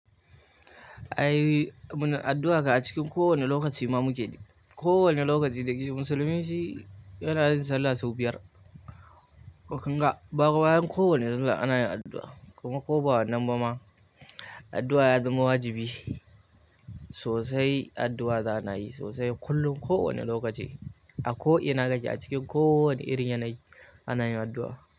Ai muna addu'a ka a cikin kowane lokaci ma muke yi. Kowane lokaci musulmi shi yana yin sallah sau biyar, toh kunga bayan kowanne sallah ana yin addu'a. Kuma ko ba wannan ba ma addu'a ya zama wajibi sosai. Addu'a za ana yi sosai kullum, kowane lokaci, a ko ina kake, a cikin kowane irin yanayi anayin addu'a.